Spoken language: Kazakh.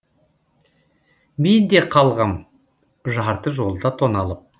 мен де қалғам жарты жолда тоналып